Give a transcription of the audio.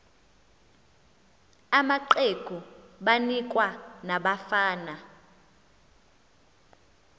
amaqegu banikwa nabafana